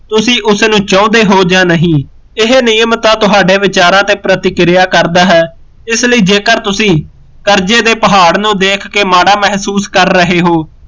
ਤੁਸੀਂ ਉਸਨੂੰ ਚਉਂਦੇ ਹੋ ਜਾ ਨਹੀਂ ਇਹ ਨਿਯਮ ਤਾਂ ਤੁਹਾਡੇ ਵਿਚਾਰਾਂ ਤੇ ਪ੍ਰਤੀਕਿਰਿਆ ਕਰਦਾ ਹੈ ਇਸਲਈ ਜੇਕਰ ਤੁਸੀਂ ਕਰਜੇ ਦੇ ਪਹਾੜ ਨੂੰ ਦੇਖ ਕੇ ਮਾੜਾ ਮਹਿਸੂਸ ਕਰ ਰਹੇ ਹੋ